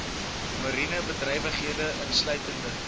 mariene bedrywighede insluitende